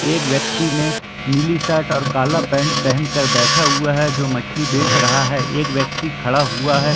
एक व्यक्ति ने नीली शर्ट और काला पेंट पहन कर बैठा हुआ हैं जो मछली बेच रहा हैं। एक व्यक्ति खड़ा हुआ है।